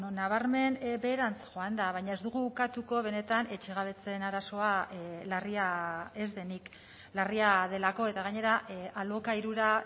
nabarmen beherantz joan da baina ez dugu ukatuko benetan etxegabetzeen arazoa larria ez denik larria delako eta gainera alokairura